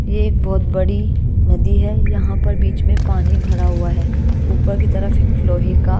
ये एक बहोत बड़ी नदी है यहां पर बीच में पानी भरा हुआ है ऊपर की तरफ एक लोहे का--